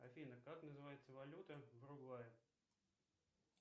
афина как называется валюта в уругвае